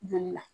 Joli la